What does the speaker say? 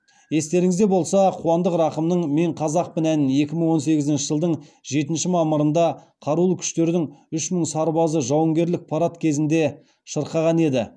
естеріңізде болса қуандық рақымның мен қазақпын әнін екі мың он сегізінші жылдың жетінші мамырында қарулы күштердің үш мың сарбазы жауынгерлік парад кезінде шырқаған еді